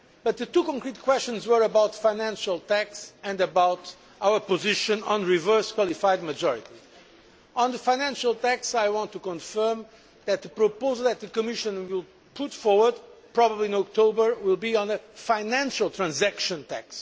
The two concrete questions were about the financial tax and about our position on reverse qualified majority. On the financial tax, I want to confirm that the proposal that the Commission will put forward, probably in October, will be on a financial transaction tax.